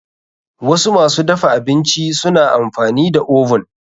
Wasu masu dafa abinci suna amfani da oven.